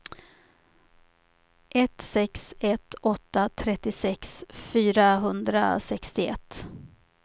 ett sex ett åtta trettiosex fyrahundrasextioett